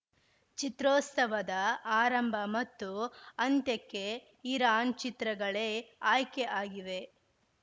ಚಿತ್ರೋತ್ಸವದ ಆರಂಭ ಮತ್ತು ಅಂತ್ಯಕ್ಕೆ ಇರಾನ್‌ ಚಿತ್ರಗಳೇ ಆಯ್ಕೆ ಆಗಿವೆ